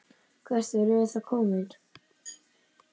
Hvert erum við þá komin?